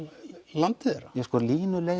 landið þeirra sko